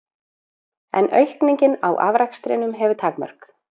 En aukningin á afrakstrinum hefur takmörk.